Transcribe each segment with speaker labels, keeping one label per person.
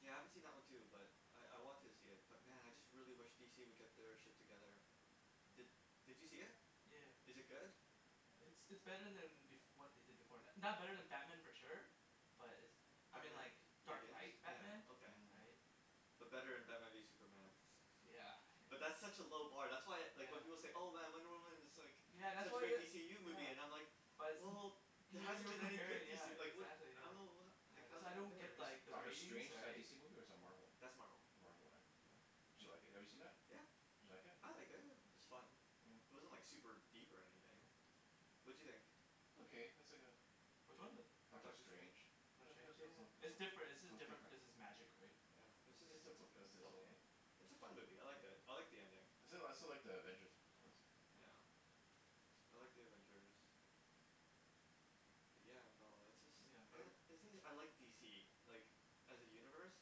Speaker 1: Yeah I haven't seen that one too but I I want to see it but man I really wish DC would get their shit together Did did you see it?
Speaker 2: yea- yeah
Speaker 1: Is it good?
Speaker 2: It's it's better then bef- what they did before, it's not better then Batman for sure But it's I mean
Speaker 1: Batman
Speaker 2: like Dark
Speaker 1: Begins?
Speaker 2: Night Batman
Speaker 1: Yeah okay.
Speaker 3: Hmm
Speaker 2: right
Speaker 1: But better than maybe Superman
Speaker 2: yeah
Speaker 1: But that's
Speaker 2: yeah
Speaker 1: such a low bar that's why like when
Speaker 2: yeah
Speaker 1: people say "Oh man Wonder Woman is like
Speaker 2: Yeah that's
Speaker 1: such a
Speaker 2: what
Speaker 1: great
Speaker 2: wha-
Speaker 1: DCU movie"
Speaker 2: yeah
Speaker 1: I'm like
Speaker 2: But
Speaker 1: Wel-
Speaker 2: it's-
Speaker 1: well there
Speaker 2: You-
Speaker 1: hasn't
Speaker 2: you're
Speaker 1: been any good
Speaker 2: comparing yeah
Speaker 1: DC like what the
Speaker 2: exactly
Speaker 1: I don't
Speaker 2: yeah
Speaker 1: know ho-
Speaker 2: Yeah that's
Speaker 1: how's
Speaker 2: why
Speaker 1: it
Speaker 2: I don't get
Speaker 1: compares
Speaker 3: Is
Speaker 2: like the
Speaker 3: Doctor
Speaker 2: ratings
Speaker 3: Strange is that a
Speaker 2: right
Speaker 3: DC movie or is that Marvel
Speaker 1: That's Marvel
Speaker 3: Marvel right
Speaker 2: yeah
Speaker 1: Yeah
Speaker 3: Did you like it have you seen that?
Speaker 1: yeah
Speaker 3: Did you like it?
Speaker 1: I liked it i- it was fun
Speaker 3: yeah
Speaker 1: It wasn't like super deep or anything
Speaker 2: yeah
Speaker 1: What'd you think?
Speaker 3: It's okay it's like a
Speaker 2: which one the
Speaker 3: Doctor
Speaker 1: Doctor Strange
Speaker 3: Strange it
Speaker 2: Doctor
Speaker 3: was it
Speaker 2: Strange
Speaker 3: was
Speaker 2: yeah
Speaker 3: oka- it
Speaker 2: it's different it's jus-
Speaker 3: was
Speaker 2: different
Speaker 3: different
Speaker 2: because its magic right
Speaker 1: Yeah
Speaker 3: yeah
Speaker 1: it's just
Speaker 3: it's
Speaker 1: it's a It's a fun movie, I liked it, I like the ending.
Speaker 3: I still like I still like The Avengers ones
Speaker 1: Yeah I like The Avengers Yeah no it's just
Speaker 2: yeah uh
Speaker 1: man the thing is I like DC like as a universe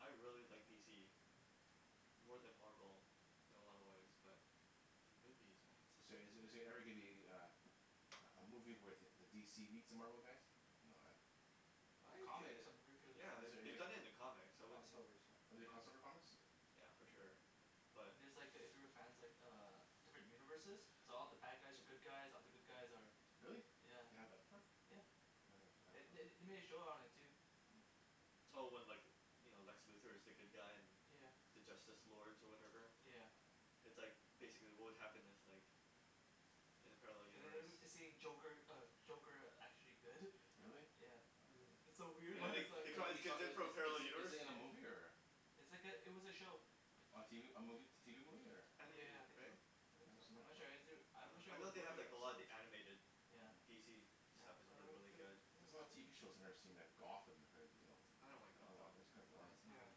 Speaker 1: I really like DC
Speaker 2: Hmm
Speaker 1: more then Marvel in a lot of way but the movies man
Speaker 3: Is there
Speaker 1: they're just so
Speaker 3: is
Speaker 1: good
Speaker 3: there every gonna be a a a a movie where the DC meets the Marvel guys no eh
Speaker 1: I
Speaker 2: There's
Speaker 1: like
Speaker 2: comics
Speaker 1: it,
Speaker 2: I'm pretty sure there's
Speaker 1: yeah
Speaker 3: Is
Speaker 1: the-
Speaker 2: comic
Speaker 3: there
Speaker 1: they
Speaker 3: any-
Speaker 1: done it in the comics I
Speaker 4: cross
Speaker 1: wouldn't
Speaker 2: yeah
Speaker 4: overs right
Speaker 3: Are there
Speaker 1: yeah
Speaker 3: cross over comics
Speaker 1: yeah for
Speaker 2: yeah
Speaker 1: sure but
Speaker 2: And there's like if you were fans like uh different universes so all the bad guys are good guys, all the good guys are
Speaker 3: Really
Speaker 2: yeah,
Speaker 3: they have the before
Speaker 2: yeah
Speaker 3: Oh I never seen that
Speaker 2: The-
Speaker 3: part
Speaker 2: they they made a show on it too
Speaker 3: Hmm
Speaker 1: Oh when like you know Lex Luthor is the good guy and
Speaker 2: yeah
Speaker 1: the Justice Lords or whatever
Speaker 2: yeah
Speaker 1: It's like basically what would happen if like in a parallel
Speaker 2: And
Speaker 1: universe
Speaker 2: the- then seeing Joker uh Joker actually good
Speaker 3: Really?
Speaker 2: yeah
Speaker 1: Hmm
Speaker 3: wow
Speaker 2: It's so
Speaker 1: and
Speaker 2: weird
Speaker 1: then
Speaker 3: In
Speaker 1: they
Speaker 2: its
Speaker 1: they
Speaker 2: like
Speaker 1: call these
Speaker 3: is
Speaker 1: kids in
Speaker 3: is
Speaker 1: from a parallel
Speaker 3: is is
Speaker 1: universe
Speaker 3: it in a
Speaker 2: yeah
Speaker 3: movie or
Speaker 2: It's like it- it was a show
Speaker 3: A tv a movie t- tv movie or
Speaker 2: Yeah
Speaker 1: Animated
Speaker 2: yeah I think so
Speaker 1: right?
Speaker 2: I
Speaker 3: I
Speaker 2: think
Speaker 3: never
Speaker 2: so
Speaker 3: seen
Speaker 2: I'm
Speaker 3: that
Speaker 2: not
Speaker 3: before
Speaker 2: sure I'm
Speaker 1: Oh
Speaker 2: not sure
Speaker 1: I
Speaker 2: if it
Speaker 1: know
Speaker 2: was
Speaker 1: they
Speaker 2: a
Speaker 1: have
Speaker 2: movie or an
Speaker 1: like a lot of
Speaker 2: episode
Speaker 1: the animated
Speaker 2: yeah
Speaker 3: Hmm
Speaker 1: DC
Speaker 2: yeah
Speaker 1: stuff is
Speaker 2: well
Speaker 1: really
Speaker 2: they
Speaker 1: really
Speaker 2: they were
Speaker 1: good
Speaker 3: There's a
Speaker 2: it was
Speaker 3: lot of
Speaker 2: good
Speaker 3: tv shows I never seen like
Speaker 2: yeah
Speaker 3: Gotham that I heard you know
Speaker 1: I don't like
Speaker 3: I don't watc-
Speaker 1: Gotham
Speaker 3: it's kinda
Speaker 4: oh
Speaker 3: boring
Speaker 4: it's not
Speaker 2: yeah
Speaker 4: that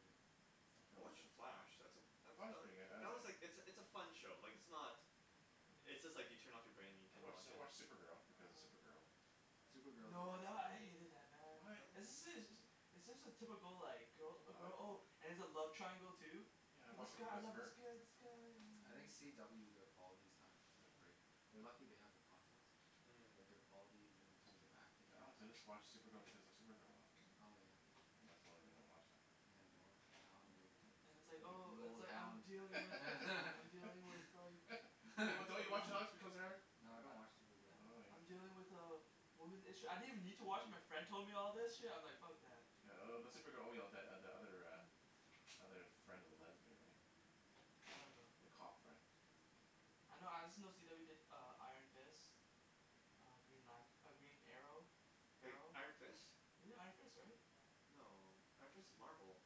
Speaker 4: good
Speaker 1: I watch The Flash that's a that
Speaker 3: Flash is
Speaker 1: that
Speaker 3: pretty good I I
Speaker 1: that was like it's a it's a
Speaker 3: I
Speaker 1: fun show like it's not It's just like you turn off your brain and you
Speaker 3: I
Speaker 1: can
Speaker 3: watch
Speaker 1: watch
Speaker 3: I
Speaker 1: it
Speaker 3: watch
Speaker 4: yeah
Speaker 3: Supergirl because of Supergirl
Speaker 4: Supergirl is a
Speaker 2: No
Speaker 4: good
Speaker 2: that
Speaker 4: show
Speaker 2: I hated that man
Speaker 3: What?
Speaker 1: right
Speaker 2: It's just a typical like
Speaker 3: I
Speaker 2: girl
Speaker 3: I like
Speaker 2: girl
Speaker 3: it
Speaker 2: oh
Speaker 3: all
Speaker 2: and there's a love triangle too
Speaker 3: Yeah I watch
Speaker 2: this
Speaker 3: it
Speaker 1: Oh
Speaker 2: guy I
Speaker 3: because of
Speaker 2: love this
Speaker 3: her
Speaker 2: guy this guy
Speaker 4: I
Speaker 2: oh
Speaker 4: think
Speaker 2: oh
Speaker 4: CW their quality's not that
Speaker 2: yeah
Speaker 4: great They're lucky they have the content
Speaker 1: Hmm
Speaker 4: but their quality in
Speaker 2: yeah
Speaker 4: terms of acting
Speaker 3: But
Speaker 4: and
Speaker 3: honestly
Speaker 4: everything
Speaker 3: I watch Supergirl because of Supergirl though
Speaker 4: oh
Speaker 2: yeah
Speaker 4: yeah
Speaker 3: Yeah that's the only
Speaker 2: yeah
Speaker 3: reason I watch that
Speaker 4: yeah
Speaker 2: and it's
Speaker 3: I
Speaker 2: like
Speaker 3: enjoy it
Speaker 2: oh
Speaker 4: the
Speaker 2: it's
Speaker 4: old
Speaker 2: like I'm
Speaker 4: hound
Speaker 2: dealing with I'm dealing with like
Speaker 3: Don't don't you watch
Speaker 2: Ooh
Speaker 3: because of her?
Speaker 2: I
Speaker 4: No I don't watch Supergirl
Speaker 3: Oh
Speaker 2: I I'm
Speaker 3: you
Speaker 2: dealing
Speaker 3: don't watch it
Speaker 2: with a woman's issue, I didn't even need to watch it my friend told me all this
Speaker 3: Hmm
Speaker 2: shit and I'm like fuck that
Speaker 3: Yeah th- the Supergirl only the the other uh other friend of the lesbian right
Speaker 2: I don't know
Speaker 3: the
Speaker 2: yeah
Speaker 3: cop friend
Speaker 2: I know I just know CW did uh Iron Fist Uh Green Lant- Green Arrow
Speaker 1: Wait
Speaker 2: Arrow.
Speaker 1: Iron Fist?
Speaker 2: They did Iron Fist right?
Speaker 1: No, Iron Fist is Marvel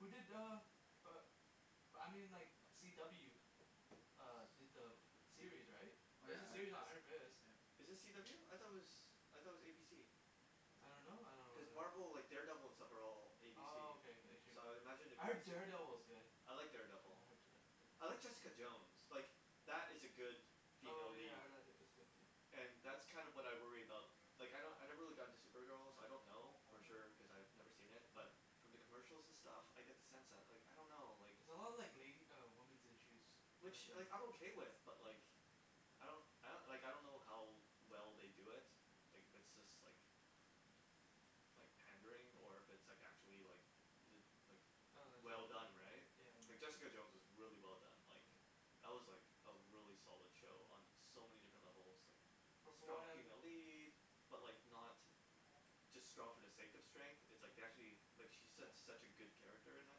Speaker 2: Who did uh uh but I mean like CW uh did the uh series right
Speaker 4: oh yeah
Speaker 2: there's a
Speaker 4: Iron
Speaker 2: series on
Speaker 4: Fist
Speaker 2: Iron Fist
Speaker 4: yeah
Speaker 1: Is it CW? I though it was I thought it was ABC.
Speaker 4: was
Speaker 2: I
Speaker 4: it
Speaker 2: don't know I
Speaker 1: Cuz
Speaker 2: don't know wh-
Speaker 1: Marvel like Daredevil and stuff are all ABC
Speaker 2: Oh okay okay
Speaker 1: so I imagine it
Speaker 2: I
Speaker 1: would be
Speaker 2: heard
Speaker 1: the same thing
Speaker 2: Daredevil is good
Speaker 1: I like
Speaker 2: yeah
Speaker 1: Daredevil
Speaker 2: I heard Da-
Speaker 1: I heard
Speaker 2: De-
Speaker 1: Jessica Jones like that is a good female
Speaker 2: Oh yeah
Speaker 1: lead
Speaker 2: I heard tha- that was good too
Speaker 1: and that's kinda what I worry about like I kno- I never really got into Supergirl so I don't know for
Speaker 2: Hmm
Speaker 1: sure cause I've never seen it but
Speaker 2: Hmm
Speaker 1: from the commercial and stuff I get the sense that like I don't know
Speaker 2: It's a lot of like lady uh women's issues uh
Speaker 1: which
Speaker 2: kinda
Speaker 1: like I'm
Speaker 2: thing
Speaker 1: okay with but like
Speaker 2: Mm
Speaker 1: I don't I like I don't know how well they do it like if it's just like like pandering or
Speaker 2: yeah
Speaker 1: if it's like actually like lit- like
Speaker 2: Oh
Speaker 1: well
Speaker 2: legitimate
Speaker 1: done right
Speaker 2: yeah yeah, yeah
Speaker 1: like Jessica Jones
Speaker 3: Hmm
Speaker 1: is really well done like
Speaker 2: yeah
Speaker 1: That was like a really solid show
Speaker 2: Mm
Speaker 1: on so many different levels like
Speaker 2: But from
Speaker 1: strong
Speaker 2: what I'm
Speaker 1: female lead but like not just strong for the sake of strength it's
Speaker 2: yeah,
Speaker 1: like they actually like she's su-
Speaker 2: yeah,
Speaker 1: such a good character in that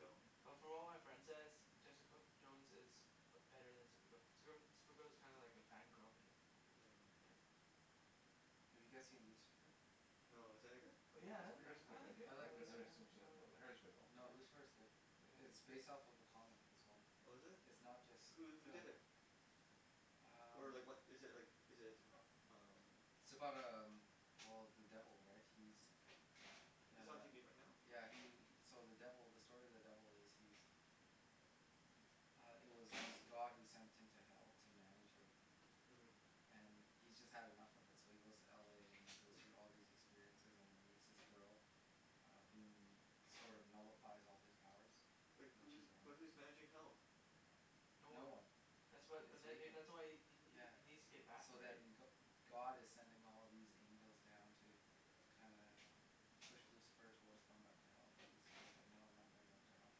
Speaker 2: yeah But from what my friend says Jessica Jones is uh better then Supergirl, Supergirl Supergirl is kinda like a fan girl thing
Speaker 1: Hmm
Speaker 2: yeah
Speaker 4: Have you guys seen Lucifer?
Speaker 1: No, is that any good?
Speaker 2: Oh yeah I
Speaker 4: It's
Speaker 3: I
Speaker 4: pretty
Speaker 3: heard it's
Speaker 4: good,
Speaker 2: I I
Speaker 3: pretty good
Speaker 2: like it
Speaker 4: I
Speaker 3: I
Speaker 2: I
Speaker 3: I
Speaker 4: like
Speaker 2: like it yeah
Speaker 3: never
Speaker 4: Lucifer
Speaker 3: seen it
Speaker 2: yeah
Speaker 3: before
Speaker 2: I like
Speaker 3: but I heard it's good though
Speaker 4: No
Speaker 2: yeah
Speaker 4: Lucifer's good It-
Speaker 2: yeah
Speaker 4: it's based off a comic as well
Speaker 1: Oh is it?
Speaker 4: It's not just
Speaker 1: Who who
Speaker 4: the
Speaker 1: did it? Or
Speaker 4: um
Speaker 1: like what is it like is it t- umm
Speaker 4: It's about um well the devil right he's
Speaker 1: Is it on
Speaker 4: uh
Speaker 1: tv right now?
Speaker 4: yeah he he so the devil the story of the devil is he's m- uh it was God who sent him to hell to manage everything
Speaker 1: uh-huh
Speaker 4: and he's just had enough of it so he goes to LA and he goes through all these experiences and he meets this girl uh whom sort of nullifies all his powers
Speaker 1: Wait
Speaker 4: when she's
Speaker 1: who's but
Speaker 4: around
Speaker 1: who's managing hell?
Speaker 2: No
Speaker 4: no
Speaker 2: one
Speaker 4: one
Speaker 2: That's why
Speaker 4: it's
Speaker 2: but then
Speaker 4: vacant
Speaker 2: that's why he he
Speaker 4: yeah
Speaker 2: he needs to get back
Speaker 4: So
Speaker 2: right
Speaker 4: then Go- God is sending all these angels down to kinda push Lucifer towards going back to hell but Lucifer is like no I'm not going back to hell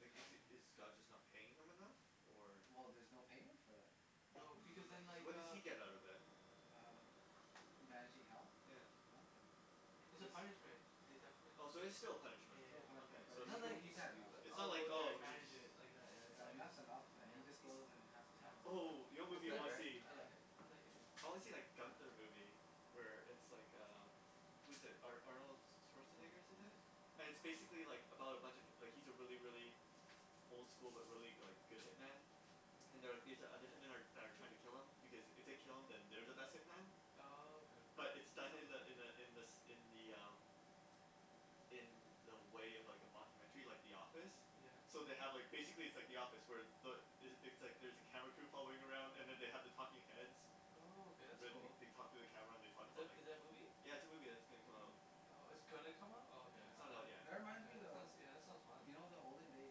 Speaker 1: Like is is
Speaker 2: yeah
Speaker 1: God just not paying him enough? Or?
Speaker 4: Well there's no payment for that
Speaker 2: No because then
Speaker 1: So
Speaker 2: like
Speaker 1: what does
Speaker 2: uh
Speaker 1: he get out of it?
Speaker 4: um ma- managing hell?
Speaker 1: yeah
Speaker 4: Nothing
Speaker 2: yeah it's a
Speaker 4: it's
Speaker 2: punishment they def- it
Speaker 1: Oh so
Speaker 2: it
Speaker 1: it's still a
Speaker 4: yeah
Speaker 2: yeah
Speaker 1: punishment,
Speaker 2: yeah
Speaker 4: yeah
Speaker 2: yeah
Speaker 1: okay
Speaker 4: but
Speaker 1: so
Speaker 2: It's
Speaker 1: it's
Speaker 4: he
Speaker 2: not
Speaker 4: he
Speaker 2: like
Speaker 4: he's
Speaker 2: he's
Speaker 4: had
Speaker 2: doi-
Speaker 4: enough
Speaker 1: It's
Speaker 2: uh
Speaker 1: not
Speaker 2: I'll
Speaker 1: like
Speaker 2: go there and
Speaker 1: oh he-
Speaker 2: manage it like that yeah
Speaker 4: yeah and
Speaker 2: it
Speaker 4: that's enough and
Speaker 2: yeah
Speaker 4: he just goes and has the
Speaker 2: yeah he's
Speaker 3: oh yeah
Speaker 4: time of
Speaker 2: yeah
Speaker 4: his life.
Speaker 1: Oh you know what
Speaker 4: It's
Speaker 1: movie I
Speaker 4: good
Speaker 1: wanna
Speaker 2: right
Speaker 1: see?
Speaker 4: yeah, I
Speaker 2: yeah
Speaker 4: like it
Speaker 2: I like it yeah
Speaker 1: I wanna see that Gunther movie Where it's like um Who's it Ar- Arnold
Speaker 3: Oh my
Speaker 1: Schwarzenegger's in it
Speaker 3: goodness
Speaker 1: And it's basically like about a bunch of hip- like he's a really really old school but really like go- good hitman
Speaker 2: Hmm
Speaker 1: and they're like these other hitman that that are like trying to kill him because it they kill him then they're the best hitman
Speaker 2: Oh okay
Speaker 1: But it's done in the in the in the in the um In the way of like a mocumentary like The Office
Speaker 2: yeah
Speaker 1: So they have like basically it's like The Office where the is it things like there's a camera crew following around and they have the talking heads
Speaker 2: Oh okay that's
Speaker 1: Where they
Speaker 2: cool
Speaker 1: they talk to the camera and they talk
Speaker 2: Is
Speaker 1: about like
Speaker 2: is it a movie?
Speaker 1: Yeah it's a movie that's gonna come out
Speaker 2: Oh it's gonna come out oh
Speaker 1: Yeah
Speaker 2: okay
Speaker 1: it's
Speaker 2: I
Speaker 1: not out
Speaker 2: though,
Speaker 4: tha-
Speaker 1: yet
Speaker 4: that reminds
Speaker 2: okay
Speaker 4: me
Speaker 2: that sounds
Speaker 4: of-
Speaker 2: that sounds fun
Speaker 4: you know the olden day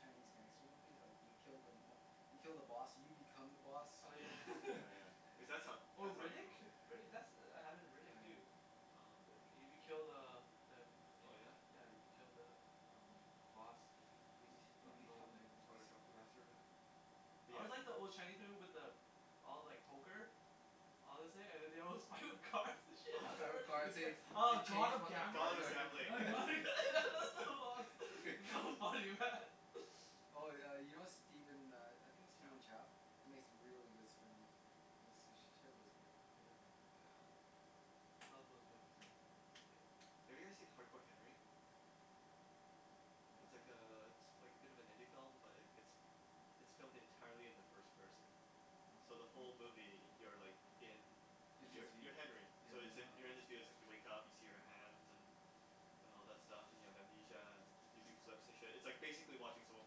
Speaker 4: Chinese gangster movie's like you kill the mob- you kill the boss and you become the boss
Speaker 2: oh yeah
Speaker 1: Yeah
Speaker 3: Oh
Speaker 2: yeah
Speaker 3: yeah
Speaker 2: yeah
Speaker 1: cuz that's how
Speaker 2: Oh
Speaker 1: that's how
Speaker 2: Riddick?
Speaker 1: crimi-
Speaker 2: Riddick that's happened in Riddick
Speaker 4: oh yeah
Speaker 2: too
Speaker 1: No
Speaker 3: Riddick.
Speaker 2: You be killed the uh the uh
Speaker 1: Oh yeah?
Speaker 2: yeah you killed the um boss you
Speaker 4: hmm uh-huh
Speaker 2: bas-
Speaker 4: you
Speaker 2: run the whole
Speaker 4: become the
Speaker 2: thing
Speaker 1: Oh
Speaker 4: boss
Speaker 1: the kung fu
Speaker 2: yeah
Speaker 1: master of whatever?
Speaker 2: yeah
Speaker 1: But
Speaker 2: I
Speaker 1: yeah
Speaker 2: always like the old Chinese people with the all like poker all this thing and then they with cars and
Speaker 1: Oh
Speaker 2: shit, it gets oh God of Gambles yeah that that's so lost, so funny man
Speaker 4: oh yeah you know Steven uh I think its
Speaker 1: Chow
Speaker 4: Steven Chow makes really good spring rolls h- he's sh- shit was good
Speaker 2: yeah
Speaker 1: Yeah oh
Speaker 2: I love those movies man when I was a kid
Speaker 1: Have you guys seen Hard Core Henry?
Speaker 4: Mm
Speaker 2: uh
Speaker 1: It's
Speaker 2: I
Speaker 1: like
Speaker 2: don't know
Speaker 1: uh it's like a bit of an indie film but like it's it's filmed entirely in the first person so the
Speaker 4: oh
Speaker 1: whole
Speaker 2: Oh
Speaker 1: movie you're like in
Speaker 4: in his
Speaker 1: you're you're
Speaker 4: view
Speaker 1: Henry
Speaker 4: yeah
Speaker 1: so yo- you're in
Speaker 4: um
Speaker 1: his
Speaker 2: oh
Speaker 1: you wake up see your hands and and all that stuff and you have amnesia and you do flips and shit it's like basically watching someone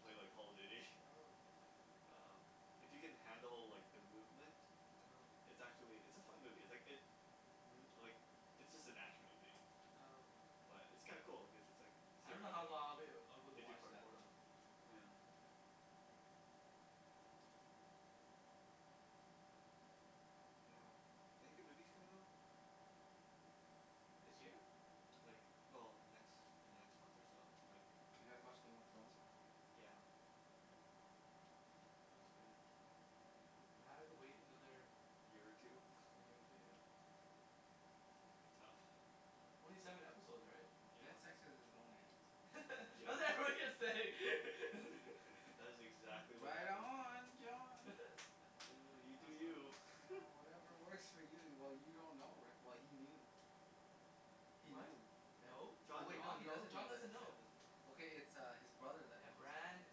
Speaker 1: play like Call of Duty
Speaker 2: oh okay
Speaker 1: Umm If you can handle like the movement
Speaker 2: oh okay
Speaker 1: it's actually it's a fun movie it's like it uh-huh like it's just an action movie
Speaker 2: oh okay
Speaker 1: but it's kinda cool like cause it's just like
Speaker 2: I
Speaker 1: you see him
Speaker 2: don't know how
Speaker 1: running
Speaker 2: lo- long I'd be able to
Speaker 1: they do
Speaker 2: watch that
Speaker 1: parkour
Speaker 2: though
Speaker 1: yeah
Speaker 2: yeah
Speaker 1: but yeah Any good movies coming out?
Speaker 2: this year?
Speaker 1: Like well in the next in the next month or so I mean
Speaker 4: Did you guys watch Game of Thrones yet?
Speaker 1: yeah
Speaker 2: yeah yeah that was good but Now I have to wait another
Speaker 1: year or two
Speaker 2: year or two yeah
Speaker 1: It's gonna be tough
Speaker 2: only seven episode right?
Speaker 4: yeah he had
Speaker 1: yeah
Speaker 4: sex with his own aunt
Speaker 2: I was
Speaker 1: yeah
Speaker 2: like what are you gonna say
Speaker 1: That is exactly what
Speaker 4: right
Speaker 1: happened
Speaker 4: on
Speaker 2: yeah
Speaker 4: John
Speaker 2: that
Speaker 1: Oh you do
Speaker 2: was fun
Speaker 1: you
Speaker 4: yeah whatever works for you well you don't know righ- well he knew he
Speaker 2: what?
Speaker 4: knew tha-
Speaker 2: no,
Speaker 4: oh
Speaker 1: John
Speaker 4: wait
Speaker 1: didn't
Speaker 2: John
Speaker 4: he
Speaker 2: no
Speaker 4: doesn't know
Speaker 2: John
Speaker 4: that
Speaker 2: doesn't
Speaker 1: John
Speaker 4: yet
Speaker 1: doesn't
Speaker 2: know
Speaker 1: know
Speaker 4: Okay it's his brother that
Speaker 2: yeah
Speaker 4: knows
Speaker 2: Bran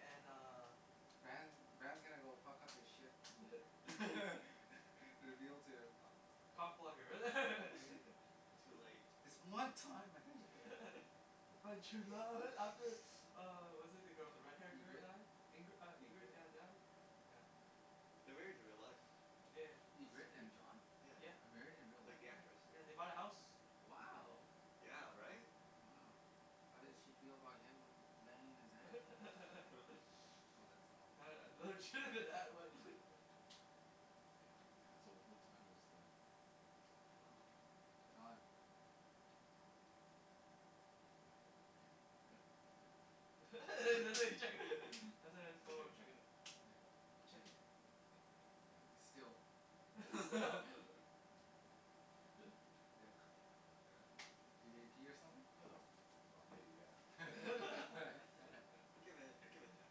Speaker 2: and uh
Speaker 4: Bran Bran is gonna go fuck up his shit you're guiltier
Speaker 2: ah cock
Speaker 4: yeah
Speaker 2: blocker
Speaker 4: he
Speaker 1: Too late
Speaker 4: This one time I
Speaker 2: I found true love after uh was it the girl the red hair
Speaker 4: yeah
Speaker 2: girl
Speaker 4: Ingrid
Speaker 2: die Ingri- Ingrid
Speaker 4: Ingrid
Speaker 2: yeah died yeah
Speaker 1: They're married in real life
Speaker 2: Yeah yeah
Speaker 1: That's
Speaker 4: Ingrid and
Speaker 1: crazy,
Speaker 4: John
Speaker 1: yeah
Speaker 2: yeah
Speaker 4: are married in real
Speaker 1: Like
Speaker 4: life?
Speaker 1: the
Speaker 2: yeah
Speaker 1: actress
Speaker 2: yeah they bought a house together
Speaker 4: wow
Speaker 2: yeah
Speaker 1: Yeah right
Speaker 2: yeah
Speaker 4: wow how did she feel about him banging his aunt?
Speaker 2: that was
Speaker 1: yeah
Speaker 3: so
Speaker 4: yeah
Speaker 3: what what time is the
Speaker 1: hmm I don't
Speaker 4: Don
Speaker 1: know
Speaker 3: In,
Speaker 4: yeah
Speaker 3: yeah
Speaker 4: yeah Hmm
Speaker 2: his
Speaker 3: Are you chec-
Speaker 2: phone
Speaker 3: checking it?
Speaker 4: yeah still
Speaker 3: There is
Speaker 2: stop
Speaker 3: Oh okay, really?
Speaker 4: yeah
Speaker 3: Oh crap
Speaker 4: you need to pee or something?
Speaker 3: No no well
Speaker 1: No
Speaker 3: maybe yeah
Speaker 2: yeah
Speaker 1: Give it give it ten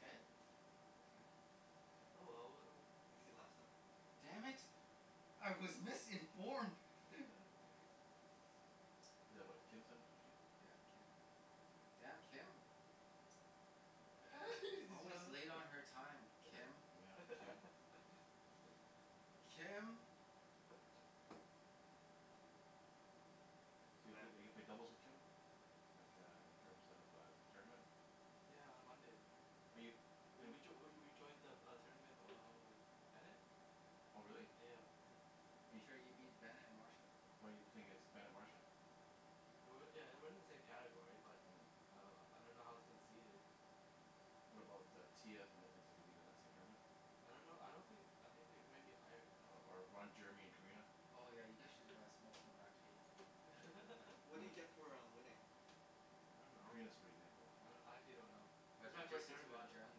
Speaker 3: Ten?
Speaker 2: yeah
Speaker 4: you can
Speaker 1: Ten
Speaker 2: oh
Speaker 3: okay
Speaker 1: yeah,
Speaker 2: well we
Speaker 1: if you
Speaker 2: uh
Speaker 1: can last that long
Speaker 4: damn
Speaker 2: yeah
Speaker 3: Mm
Speaker 4: it I was missing
Speaker 3: Is that what Kim
Speaker 1: yeah
Speaker 4: yeah Kim
Speaker 2: huh
Speaker 4: damn Kim
Speaker 3: yeah
Speaker 2: did you
Speaker 4: always
Speaker 2: know
Speaker 4: late on
Speaker 2: that?
Speaker 4: her time Kim
Speaker 3: yeah Kim
Speaker 2: oh
Speaker 4: Kim
Speaker 3: So you eve-
Speaker 1: Demand
Speaker 3: ever played doubles with Kim? Like uh in terms of uh tournament
Speaker 2: yeah on Monday right
Speaker 3: Are you,
Speaker 2: we
Speaker 3: playin-
Speaker 2: we joi- we we we joined the the uh tournament uh with Bennet
Speaker 3: Oh really
Speaker 2: yeah yeah
Speaker 4: Make
Speaker 3: bef-
Speaker 4: sure you beat Bennet and Marsha
Speaker 3: why you playing against Bennet Marsha
Speaker 2: It wa- yeah it wasn't in the same category but uh I don't know how its seated
Speaker 3: What about uh Tia in in is it gonna be in the same tournament?
Speaker 2: I don't know I don't thin- I think they might be higher I
Speaker 3: Or
Speaker 2: don't
Speaker 3: or Ron
Speaker 2: know
Speaker 3: Jeremy and Karina
Speaker 4: Oh yeah you
Speaker 2: oh
Speaker 4: guys should uh smoke them back to eighties porno.
Speaker 1: What
Speaker 3: No
Speaker 1: do you
Speaker 3: one
Speaker 1: get for uh winning?
Speaker 2: I don't know
Speaker 3: Karina's pretty good though
Speaker 2: I do- I actually don' know This
Speaker 4: But
Speaker 2: is my
Speaker 4: ju- just
Speaker 2: first
Speaker 4: hit to
Speaker 2: tournament
Speaker 4: Ron
Speaker 2: this is my
Speaker 4: Jeremy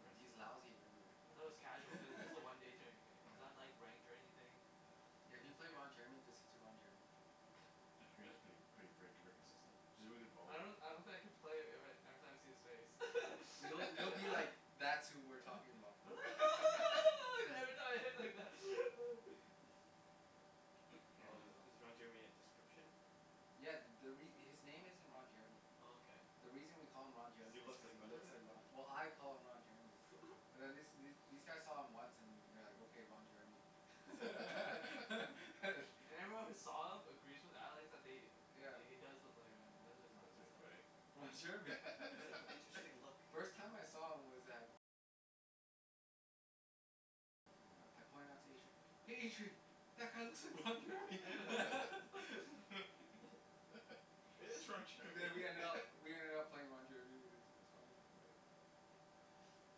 Speaker 2: first
Speaker 4: he's
Speaker 2: tournament
Speaker 4: lousy in every
Speaker 2: I though it was casual cuz this
Speaker 4: way
Speaker 2: a one day tou- tou- it's not ranked or anything
Speaker 1: yeah
Speaker 4: yeah
Speaker 2: Like
Speaker 4: if you
Speaker 2: there's a
Speaker 4: play Ron Jeremy just hit to Ron Jeremy
Speaker 3: Karina's prett- pretty ver- very consistent she's a very good
Speaker 2: I
Speaker 3: volleyball pla-
Speaker 2: don- I don't think I can play ever- every time I see his face
Speaker 4: You- you'll be like that's who we're talking about
Speaker 2: uh
Speaker 4: yeah
Speaker 1: Oh is
Speaker 4: you will
Speaker 1: is Ron Jeremy a description?
Speaker 4: yeah th- the re- his name isn't Ron Jeremy
Speaker 1: Oh okay
Speaker 4: the reason we call him Ron
Speaker 1: if you
Speaker 4: Jeremy is
Speaker 1: look
Speaker 4: cuz
Speaker 1: like
Speaker 4: he
Speaker 1: Ron
Speaker 4: looks
Speaker 1: Jeremy
Speaker 4: like Ro- well I call him Ron Jeremy
Speaker 2: yeah
Speaker 4: But wh- these these guys saw him once and they're like okay Ron Jeremy
Speaker 1: It's like
Speaker 4: harsh
Speaker 2: And everyone who saw him agrees with Alex that they
Speaker 4: yeah
Speaker 2: he he does look like Ron Je- that's why he was
Speaker 3: That's
Speaker 2: laughing
Speaker 3: pretty funny
Speaker 1: Oh
Speaker 4: Ron
Speaker 2: yeah
Speaker 4: Jeremy
Speaker 1: It's an interesting look
Speaker 4: First time I saw him was at I pointed it out to Adrian "hey Adrian" That guy looks like Ron Jeremy But we ended up we ended up playing Ron Jeremy i- it was funny
Speaker 3: uh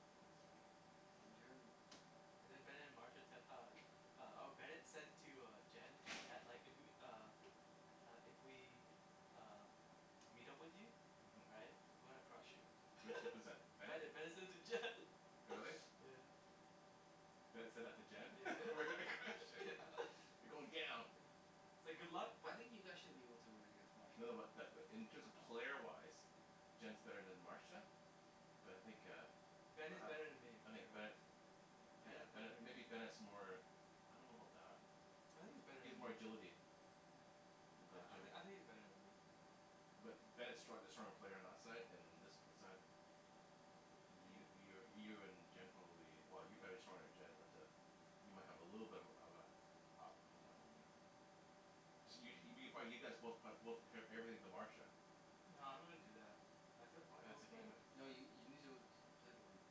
Speaker 3: yeah that's funny
Speaker 4: Ron Jeremy
Speaker 2: yeah and then Bennet and Marsha tec- uh uh or Bennet said to uh Jen that like if we uh uh if we um meet up with you right
Speaker 3: uh-huh
Speaker 2: we're gonna crush you
Speaker 3: so was that was that Bennet?
Speaker 2: Bennet Bennet said it to Jen
Speaker 3: Really?
Speaker 2: yeah yeah
Speaker 3: Bennet said that to Jen
Speaker 2: yeah
Speaker 3: we're gonna crush
Speaker 2: yeah
Speaker 3: it, you're going down
Speaker 2: yeah It's like good luck
Speaker 4: i- I
Speaker 2: but
Speaker 4: think you
Speaker 2: yeah
Speaker 4: guys should be able to win against
Speaker 3: No
Speaker 4: Marsha
Speaker 3: no but that in terms of player wise Jen's better then Marsha But I think uh But
Speaker 2: Bennet's better then me
Speaker 3: eh I
Speaker 2: for
Speaker 3: think
Speaker 2: sure
Speaker 3: Bennet's
Speaker 2: Ben
Speaker 3: yeah
Speaker 2: is better
Speaker 3: Bennet
Speaker 2: then
Speaker 3: maybe
Speaker 2: me
Speaker 3: Bennet's more I don't know about that
Speaker 2: I think he's better
Speaker 3: He has
Speaker 2: then
Speaker 3: more
Speaker 2: me, oh
Speaker 3: agility
Speaker 2: yeah
Speaker 3: Then then
Speaker 2: I I
Speaker 3: Jimmy
Speaker 2: think he's better then me
Speaker 3: But
Speaker 2: yeah
Speaker 3: Bennet's strong- the stronger player on our side and uh this side You you
Speaker 2: yeah
Speaker 3: you're you're in Jen probably well you're better
Speaker 2: yeah
Speaker 3: stronger then Jen but uh You might have a little bit of uh of uh up on that one there this you you probably you guys both prob- both eve- everything to Marsha
Speaker 2: No I'm not gonna do that I fee-
Speaker 3: Why
Speaker 2: uh
Speaker 3: that's
Speaker 2: we
Speaker 3: the game
Speaker 2: pla-
Speaker 4: No you you need to play to win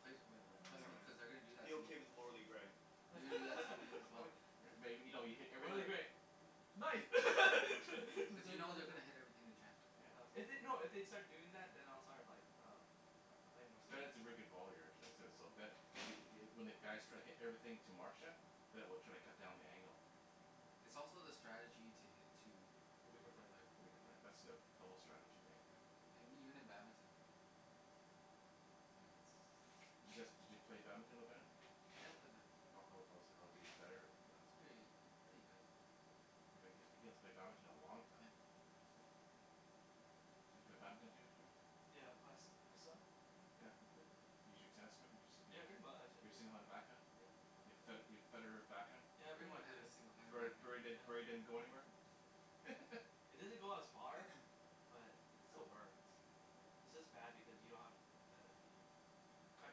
Speaker 4: play to win man trust
Speaker 1: Yeah
Speaker 4: me
Speaker 1: man,
Speaker 4: cuz they gonna do that
Speaker 1: be
Speaker 4: to you
Speaker 1: okay with the morally gray
Speaker 3: May- maybe you know you hit
Speaker 2: morally
Speaker 3: everything
Speaker 2: gray nice to
Speaker 4: But you know they're
Speaker 2: to
Speaker 4: gonna hit everything to Jen
Speaker 3: yeah
Speaker 2: If they- no if they'd start doing that then I'll start like uh pl- playing more serious
Speaker 3: Bennet's a very good volleyer actually so so
Speaker 2: yeah
Speaker 3: but it it when the guys try to hit everything to Marsha Ben will try to cut down the angle
Speaker 2: Hmm
Speaker 4: But it's also the strategy to hit to
Speaker 2: the
Speaker 4: the
Speaker 2: weaker
Speaker 4: weaker
Speaker 2: player
Speaker 4: player
Speaker 3: the weaker player that's the
Speaker 2: yeah
Speaker 3: double strategy right
Speaker 2: yeah
Speaker 4: yeah and even in badminton
Speaker 2: Mm
Speaker 3: Does you guys did you play badminton with Bennet?
Speaker 4: yeah I play badminton
Speaker 3: How how how was he how was he better or not
Speaker 4: He's pretty pretty good
Speaker 3: He he hasn't played badminton in a long time
Speaker 4: yeah
Speaker 3: Hmm Do you play badminton Jim- Jimmy
Speaker 2: Yeah but I su- I suck
Speaker 3: yeah
Speaker 2: yeah
Speaker 3: Can you use your tennis swing
Speaker 2: yeah pretty much I
Speaker 3: your single handed back hand
Speaker 2: uh yeah
Speaker 3: Your Fed-
Speaker 2: I
Speaker 3: Your Federer back hand
Speaker 2: yeah pretty
Speaker 4: Everyone
Speaker 2: much
Speaker 4: had a
Speaker 2: yeah
Speaker 4: singled handed
Speaker 3: Bur Bur
Speaker 4: backhand
Speaker 3: Burry Burry
Speaker 2: yeah
Speaker 3: didn't go anywhere
Speaker 2: yeah it doesn't go as far but it still works
Speaker 3: Hum
Speaker 2: its just bad because you don't have uh yo- you cut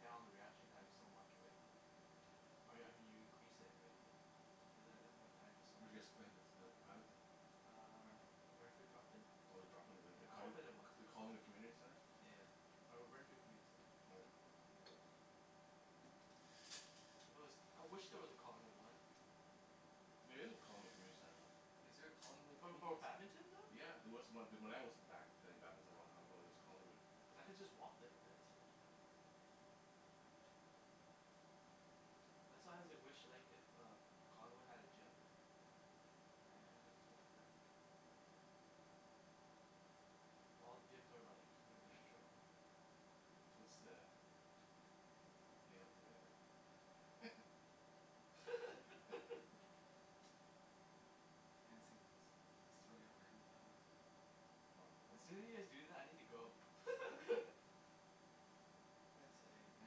Speaker 2: down the reaction time so much right
Speaker 3: yeah
Speaker 2: Or I me- mean you increase it right you you have that that more time to
Speaker 3: Where
Speaker 2: swing
Speaker 3: did you guys play the the badminton
Speaker 4: Ren-
Speaker 2: Uh Renfrew drop-in that's
Speaker 3: Oh the
Speaker 2: it
Speaker 3: drop in the
Speaker 2: yeah
Speaker 3: the
Speaker 2: I only
Speaker 3: Colling-
Speaker 2: played there once
Speaker 3: the
Speaker 2: yeah
Speaker 3: Collingwood Community Centre
Speaker 2: yeah yeah or Renfrew Community
Speaker 1: I'm
Speaker 3: Oh
Speaker 1: gonna
Speaker 3: yeah
Speaker 1: close the
Speaker 2: Centre
Speaker 1: window
Speaker 2: If there wa- I wish there was a Collingwood one
Speaker 3: There is a Collingwood Community Center one
Speaker 4: Is there a Collingwood
Speaker 2: For bad-
Speaker 4: Community Centre?
Speaker 2: badminton though?
Speaker 3: Yeah there was on- when I was back play- playing badminton a long time ago
Speaker 2: Oh
Speaker 3: there was Collingwood
Speaker 2: okay yeah cause I could just walk there right so then there
Speaker 3: yeah
Speaker 2: yeah that's how why I wish like if uh Collingwood had a gym
Speaker 3: Hmm
Speaker 2: yeah I could just walk there yeah well all the gyms are like near metro or whatever
Speaker 3: Wa- what's the what's the payout today there?
Speaker 4: I'm just throwing
Speaker 2: hmm
Speaker 4: out random numbers
Speaker 3: Not, how
Speaker 2: As
Speaker 3: much the
Speaker 2: soon as you guys do that I need to go
Speaker 1: I'd say
Speaker 4: I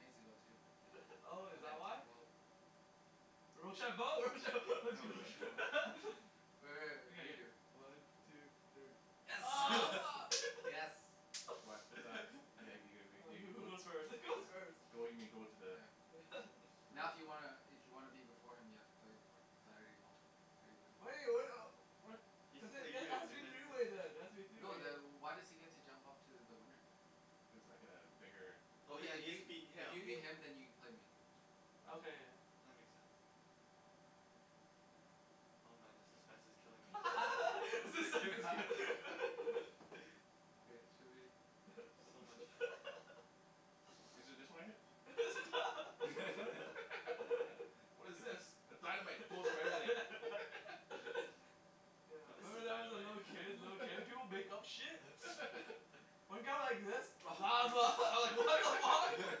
Speaker 4: need to go too
Speaker 2: oh is
Speaker 4: okay
Speaker 2: that why?
Speaker 4: we'll
Speaker 2: Rochambeau, rochambeau.
Speaker 4: Oh rochambeau Re- re-
Speaker 2: okay
Speaker 4: re-
Speaker 2: yeah yeah
Speaker 4: redo
Speaker 2: one two three oh mar
Speaker 4: yes
Speaker 3: What what's that? you ga you
Speaker 2: oh
Speaker 3: ga ga
Speaker 2: who who
Speaker 3: go
Speaker 2: goes first who goes first
Speaker 4: yeah
Speaker 3: go you mean go to the
Speaker 4: yeah
Speaker 2: yeah
Speaker 3: to the
Speaker 4: Now if you wanna i- if you wanna be before him you have to play him for it because I already wo- I already win
Speaker 1: He has
Speaker 2: cuz
Speaker 1: to play
Speaker 2: there then it
Speaker 1: you
Speaker 2: has to
Speaker 1: and
Speaker 2: be
Speaker 1: then
Speaker 2: three
Speaker 1: play
Speaker 2: way then it has to be a three
Speaker 4: No
Speaker 2: way
Speaker 4: then wh-
Speaker 2: yeah
Speaker 4: why does he get to jump up to the winner
Speaker 3: cuz I got a bigger
Speaker 1: Oh yeah
Speaker 4: okay if
Speaker 1: he has to beat
Speaker 4: if you
Speaker 1: him
Speaker 4: beat him then you can play me
Speaker 3: I
Speaker 2: okay
Speaker 3: go-
Speaker 2: yeah yeah
Speaker 1: That makes sense Oh man the suspense is killing me ah
Speaker 2: the suspense
Speaker 4: okay should be
Speaker 1: So much So much
Speaker 3: Is it just one in there
Speaker 2: it's a not
Speaker 3: What is this, a dynamite it blows up everything
Speaker 1: No
Speaker 2: yeah
Speaker 1: this is
Speaker 2: remember that when I was a
Speaker 1: dynamite
Speaker 2: little kid little kid people make up shit one got like this lava I was like what the fuck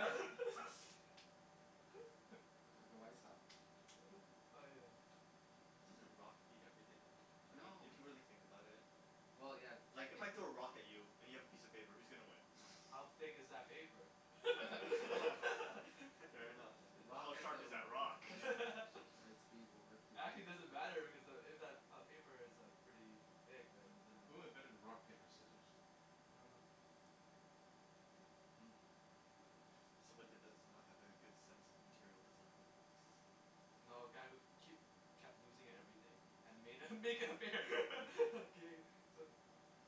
Speaker 4: no th- the white style
Speaker 2: uh-huh oh yeah
Speaker 1: Doesn't rock beat everything though I
Speaker 3: I
Speaker 1: mean
Speaker 4: No
Speaker 1: if you
Speaker 3: don't
Speaker 1: really think
Speaker 3: know
Speaker 1: about it
Speaker 4: well yeah
Speaker 1: like if I
Speaker 2: yeah
Speaker 4: technically
Speaker 1: throw a rock at you and you have a piece of paper who's gonna win?
Speaker 2: How thick is that paper
Speaker 1: fair enough How
Speaker 4: rock hit
Speaker 1: sharp
Speaker 4: the
Speaker 1: is
Speaker 4: ro-
Speaker 1: that rock?
Speaker 4: yeah
Speaker 3: rock, paper,
Speaker 4: the right
Speaker 3: scissor
Speaker 4: speed will rip through it,
Speaker 2: Actually
Speaker 4: because
Speaker 2: doesn't matter because uh if if that paper is pretty thick then it doesn't
Speaker 3: Who
Speaker 2: matter
Speaker 3: invented rock
Speaker 2: yeah
Speaker 3: paper scissors?
Speaker 2: I don't know
Speaker 4: uh-huh I don't know
Speaker 1: Somebody did this does not have a good sense of material design
Speaker 2: yeah No a guy who keep kep- kept losing at everything had to made uh
Speaker 3: Oh
Speaker 2: make it fair game so